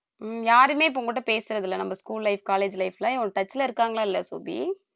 ஹம் யாருமே இப்ப உன்கிட்ட பேசறது இல்லை நம்ம school life college life ல அவங்க touch ல இருக்காங்களா இல்ல சோபி